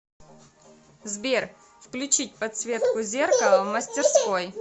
сбер включить подсветку зеркала в мастерской